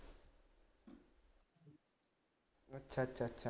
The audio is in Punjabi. ਅੱਛਾ ਅੱਛਾ ਅੱਛਾ